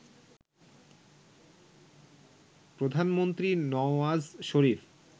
প্রধানমন্ত্রী নওয়াজ শরীফ